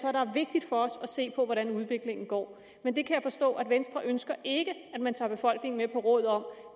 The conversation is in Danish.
er der er vigtigt for os at se på hvordan udviklingen går men jeg kan forstå at venstre ikke ønsker at man tager befolkningen med på råd om